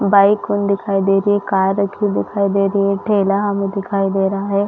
Bike उन दिखाई दे रही है कार रखी हुई दिखाई दे रही है ठेला हमें दिखाई दे रहा है।